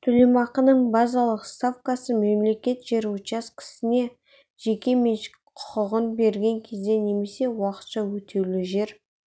төлемақының базалық ставкасы мемлекет жер учаскесіне жеке меншік құқығын берген кезде немесе уақытша өтеулі жер